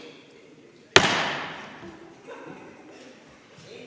See oli kõigiti heatahtlik haamrilöök.